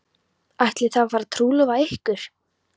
Ætlið þið að fara að trúlofa ykkur?